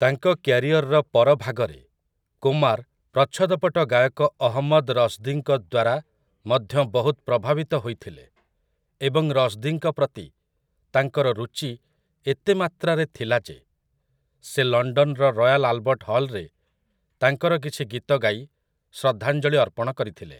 ତାଙ୍କ କ୍ୟାରିଅରର ପର ଭାଗରେ, କୁମାର୍ ପ୍ରଚ୍ଛଦପଟ ଗାୟକ ଅହମ୍ମଦ୍ ରଶ୍‌ଦୀଙ୍କ ଦ୍ୱାରା ମଧ୍ୟ ବହୁତ ପ୍ରଭାବିତ ହୋଇଥିଲେ ଏବଂ ରଶ୍‌ଦୀଙ୍କ ପ୍ରତି ତାଙ୍କର ରୁଚି ଏତେ ମାତ୍ରାରେ ଥିଲା ଯେ ସେ ଲଣ୍ଡନର ରୟାଲ୍ ଆଲବର୍ଟ ହଲ୍‌ରେ ତାଙ୍କର କିଛି ଗୀତ ଗାଇ ଶ୍ରଦ୍ଧାଞ୍ଜଳି ଅର୍ପଣ କରିଥିଲେ ।